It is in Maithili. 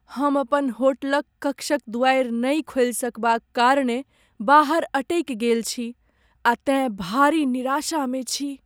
हम अपन होटलक कक्षक दुआरि नहि खोलि सकबाक कारणेँ बाहर अटकि गेल छी आ तेँ भारी निराशामे छी।